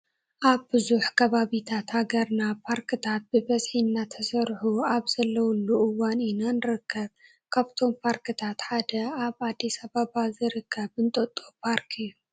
ኣብ ብዙሕ ከባቢታት ሃገር ፓርክታት ብብዝሒ እናተሰርሑ ኣብ ዘለዉሉ እዋን ኢና ንርከብ፡፡ ካብዞም ፓርክታት ሓደ ኣብ ኣዲስ ኣባባ ዝርከብ እንጦጦ ፓርክ እዩ፡፡